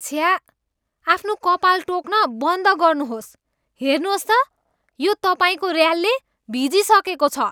छ्या! आफ्नो कपाल टोक्न बन्द गर्नुहोस्। हेर्नुहोस् त, यो तपाईँको ऱ्यालले भिजिसकेको छ।